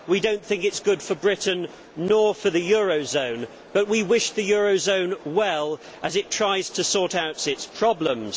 We do not think it is good for Britain, nor for the eurozone, but we wish the eurozone well as it tries to sort out its problems.